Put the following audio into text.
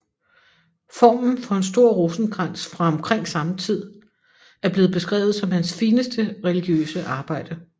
Formen for en stor rosenkrans fra omkring samme tid er blevet beskrevet som hans fineste religiøse arbejde